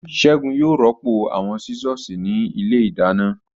Ségun yóò rọ́pò àwọn Sísọ̀sì ní ilé ìdáná